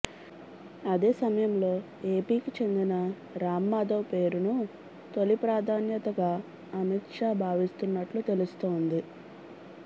అదే సమయంలో ఏపీకి చెందిన రాం మాధవ్ పేరును తొలి ప్రాధాన్యతగా అమిత్ షా భావిస్తున్నట్లు తెలుస్తోంది